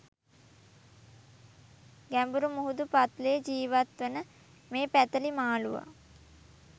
ගැඹුරු මුහුදු පත්ලේ ජීවත් වන මේ පැතලි මාලූවා